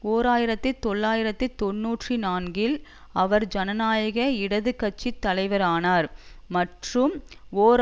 ஓர் ஆயிரத்தி தொள்ளாயிரத்தி தொன்னூற்றி நான்கில் அவர் ஜனநாயக இடது கட்சி தலைவரானார் மற்றும் ஓர்